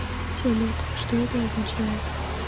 салют что это означает